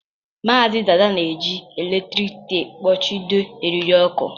Maazị Dada na-eji eletrik teepu kpuchido eriri ọkụ